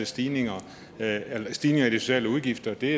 stigninger stigninger i de sociale udgifter det